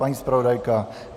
Paní zpravodajka?